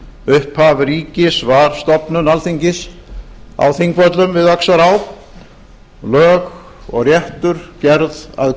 upphaf ríkis var stofnun alþingis á þingvöllum við öxará lög og réttur gerð að